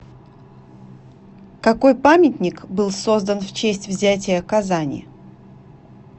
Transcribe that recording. какой памятник был создан в честь взятия казани